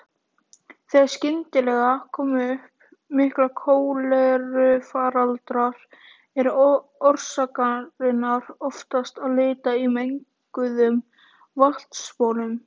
Þegar skyndilega koma upp miklir kólerufaraldrar er orsakarinnar oftast að leita í menguðum vatnsbólum.